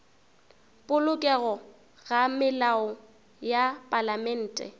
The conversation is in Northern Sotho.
polokego ga melao ya palamente